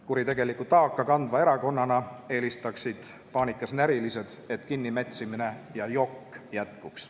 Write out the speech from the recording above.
Kuritegelikku taaka kandva erakonnana eelistaksid paanikas närilised, et kinnimätsimine ja jokk jätkuks.